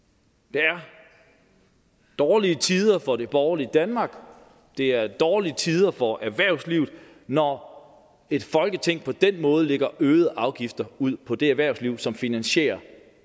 det er dårlige tider for det borgerlige danmark det er dårlige tider for erhvervslivet når et folketing på den måde lægger øgede afgifter ud på det erhvervsliv som finansierer